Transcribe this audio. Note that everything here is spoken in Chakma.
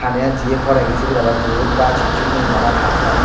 pani gan jiyet poregi sibut ole gach hicchu nei bana pakkar.